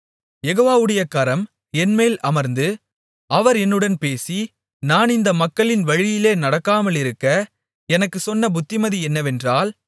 யெகோவாவுடைய கரம் என்மேல் அமர்ந்து அவர் என்னுடன் பேசி நான் இந்த மக்களின் வழியிலே நடக்காமலிருக்க எனக்குச் சொன்ன புத்திமதி என்னவென்றால்